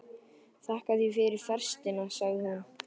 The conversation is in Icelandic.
Þakka þér fyrir festina, segir hún.